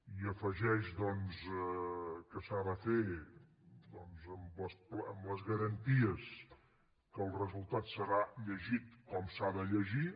i afegeix que s’ha de fer amb les garanties que el resultat serà llegit com s’ha de llegir